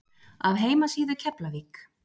Af heimasíðu Keflavík